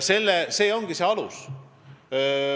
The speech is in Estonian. See ongi see alus.